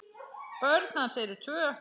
Börn hans eru tvö.